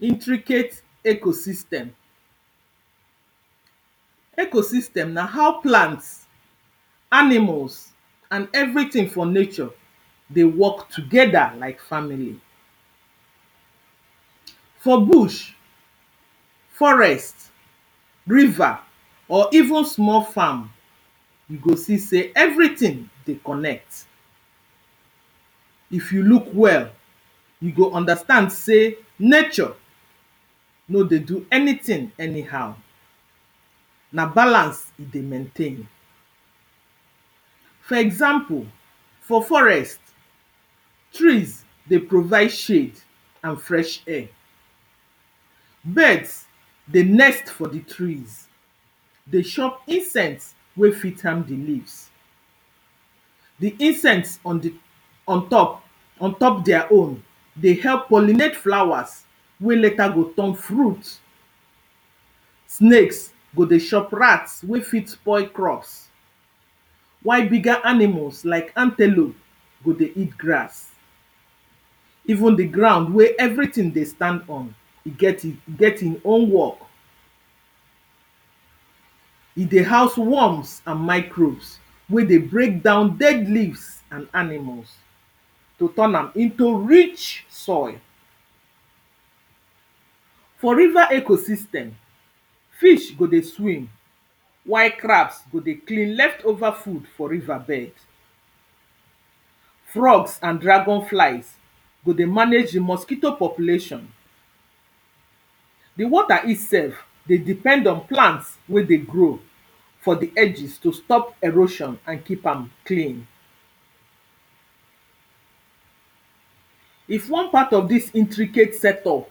intricate ecosystem. Ecosystem, na how plant, animals and everything for nature dey work together like family. for bush, forest, river, or even small farm you go see say everything dey connect. if you look well, you go understand sey nature no dey do anythin anyhow. na balance e dey maintein. for example, for forest, trees dey provide shade and fresh air. birds, dey nest for the trees dey shop insect wey fit harm the leaves the insect on the on top on top dia own, dey help pollinate flowers wey later go turn fruit. snakes go dey shop rats wey fit spoil crops. while bigger animals like antelope, go dey eat grass. even the ground wey eveything dey stand on e get in e get in own work e dey house worms and microbes wey dey break down dead leaves and animals. to turn am into rich soil. for river ecosystem, fish go dey swim, while crabs go dey clean left over food for river bed. frogs and dragon flies, go dey manage the mosquito population. the water itself, dey depend on plant wey dey grow for the edges to stop erosion and keep am clean. if wan part of this intricate setup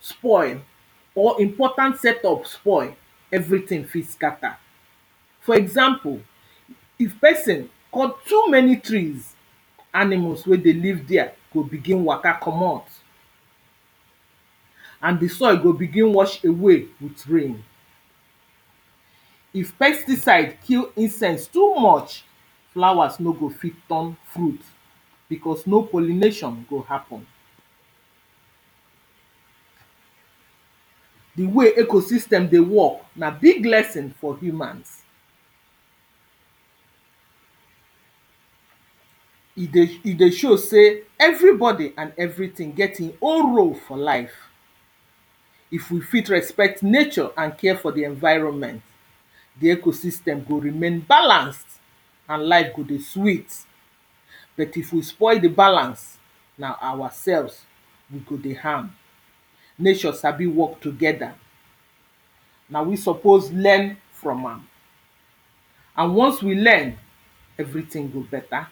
spoil or important setup spoi, everything fit scatter. for example, if person cut too many trees, animals wey dey live there go begin waka comot and the soil go begin wash away with rain. if pesticide kill insects too much, flowers no go fit turn fruit because no pollination go happen. the way ecosystem dey work, na big lesson for humans. e dey e dey show say everybody and everything get e own role for life. if we fit respect nature and care for the enviroment, the ecosystem go remain balanced and life go dey sweet. bet if we spoil the balance, na our selves we go dey harm. nature sabi work together, na we suppose learn from am and once we learn, everything go better.